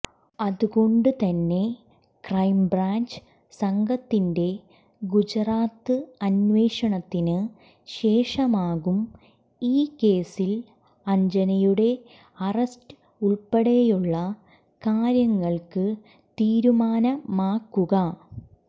അതുകൊണ്ട് തന്നെ ക്രൈംബ്രാഞ്ച് സംഘത്തിന്റെ ഗുജറാത്ത് അന്വേഷണത്തിന് ശേഷമാകും ഈ കേസിൽ അഞ്ജനയുടെ അറസ്റ്റ് ഉൾപ്പെടെയുള്ള കാര്യങ്ങൾക്ക് തീരുമാനമാകുക